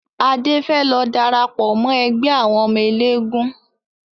Adé fẹ́ lọ darapọ̀ mọ ẹgbẹ́ àwọn ọmọ eléégún